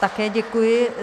Také děkuji.